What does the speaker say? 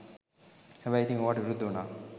හැබැයි ඉතිං ඕවට විරුද්ධ උනා